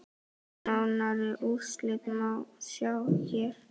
Nánari úrslit má sjá hér.